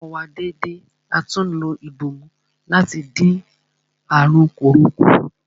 A fọ ọwọ́ wa dédé atún lo ìbòmú láti dín àrùn kòró kù.